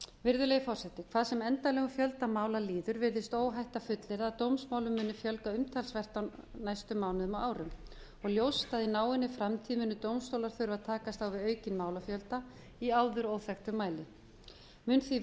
virðulegi forseti hvað sem endanlegum fjölda mála líður virðist óhætt að fullyrða að dómsmálum muni fjölga umtalsvert á næstu mánuðum og árum og ljóst að í náinni framtíð muni dómstólar þurfa að takast á við aukinn málafjölda í áður óþekktum mæli mun því